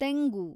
ತೆಂಗು